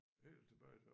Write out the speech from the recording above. Helt tilbage til